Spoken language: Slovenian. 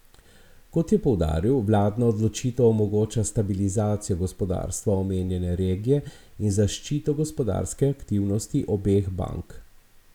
Kot je poudaril, vladna odločitev omogoča stabilizacijo gospodarstva omenjene regije in zaščito gospodarske aktivnosti obeh bank.